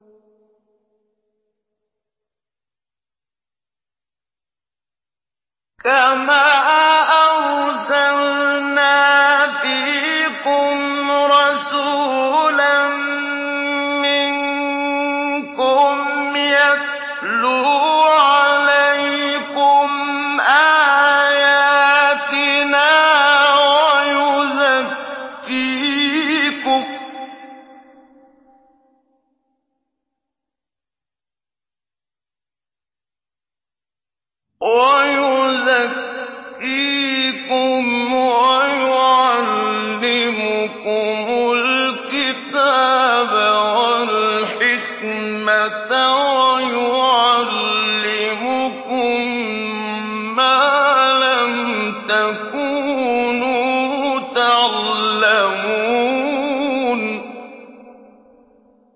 كَمَا أَرْسَلْنَا فِيكُمْ رَسُولًا مِّنكُمْ يَتْلُو عَلَيْكُمْ آيَاتِنَا وَيُزَكِّيكُمْ وَيُعَلِّمُكُمُ الْكِتَابَ وَالْحِكْمَةَ وَيُعَلِّمُكُم مَّا لَمْ تَكُونُوا تَعْلَمُونَ